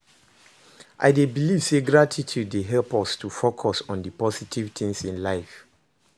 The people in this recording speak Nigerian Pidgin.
I dey believe say gratitude dey help us to focus on di positive things in life.